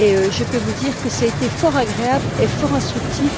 Je peux vous dire que cela a été fort agréable et fort instructif